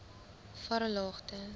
varelagte